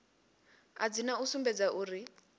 a dzina u sumbedza uri